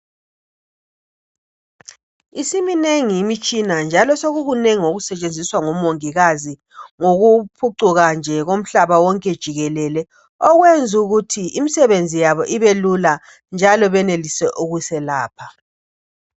Isiminengi imtshina njalo sokunengi okusetshenziswa ngomongikazi ngokuphucuka nje komhlaba wonke jikelele okwenza ukuthi umsebenzi wabo ubelula njalo benelise ukuselapha.